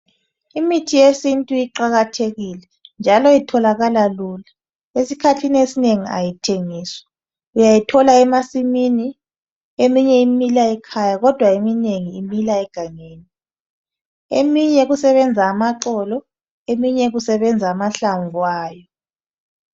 Imithi yesintu iqakathekile njalo itholakala lula. Esikhathini esinengi ayithengiswa, uyayithola emasimini, eminye imila ekhaya kodwa eminengi imila egangeni. Eminye kusebenza amaxolo eminye kusebenza amahlamvu ayo.